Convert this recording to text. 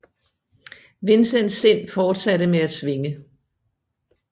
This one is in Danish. Vincents sind fortsatte med at svinge